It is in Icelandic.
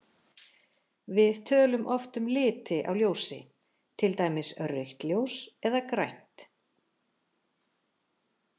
Við tölum oft um liti á ljósi, til dæmis rautt ljós eða grænt.